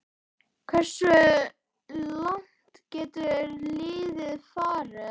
Hversu langt getur liðið farið?